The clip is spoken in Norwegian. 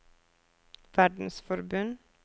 verdensforbund